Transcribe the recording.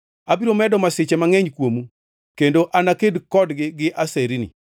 Abiro medo masiche mangʼeny kuomu, kendo anaked kodgi gi aserni.